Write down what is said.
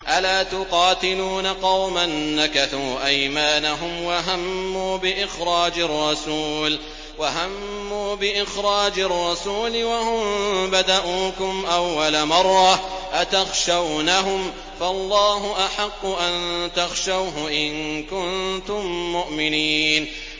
أَلَا تُقَاتِلُونَ قَوْمًا نَّكَثُوا أَيْمَانَهُمْ وَهَمُّوا بِإِخْرَاجِ الرَّسُولِ وَهُم بَدَءُوكُمْ أَوَّلَ مَرَّةٍ ۚ أَتَخْشَوْنَهُمْ ۚ فَاللَّهُ أَحَقُّ أَن تَخْشَوْهُ إِن كُنتُم مُّؤْمِنِينَ